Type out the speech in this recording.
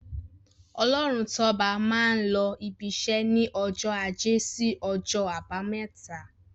Ọlọ́runtọ́ba máa n lọ ibiṣẹ́ ní ọjọ́ ajé sí ọjọ́ àbámẹ́ta.